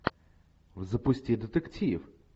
запусти детектив